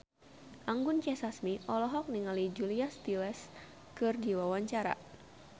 Anggun C. Sasmi olohok ningali Julia Stiles keur diwawancara